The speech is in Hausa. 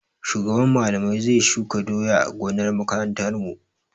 Shugaban Mallamai zai shuka doya a gonar makarantarmu.